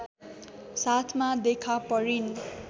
साथमा देखा परिन्